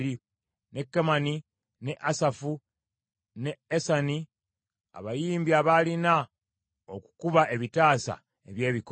ne Kemani, ne Asafu, ne Esani abayimbi abaalina okukuba ebitaasa eby’ebikomo;